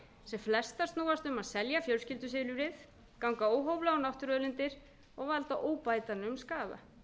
sem flestar snúast um að selja fjölskyldu ganga óhóflega á náttúruauðlindir og valda óbætanlegum skaða